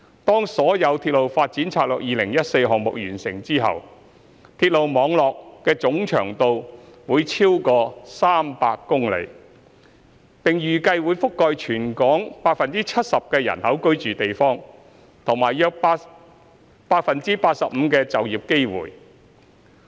當所有《鐵路發展策略2014》項目完成後，鐵路網絡總長度會超逾300公里，並預計會覆蓋全港約 75% 人口居住的地區和約 85% 的就業機會。